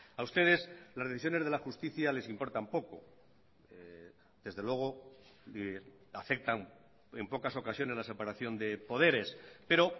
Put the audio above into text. a ustedes las decisiones de la justicia les importan poco desde luego afectan en pocas ocasiones la separación de poderes pero